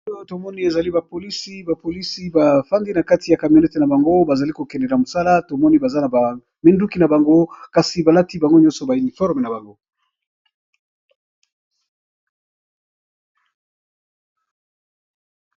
Awa tomoni eza ba polices bafandi nakati ya camionette nabango bazali KO kende na mosala tomoni baza na minduki nabango kasi balati bango nyoso ba uniforme nabango.